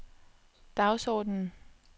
dagsordenen